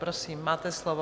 Prosím, máte slovo.